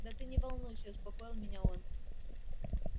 да ты не волнуйся успокоил меня он